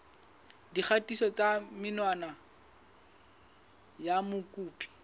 dikgatiso tsa menwana ya mokopi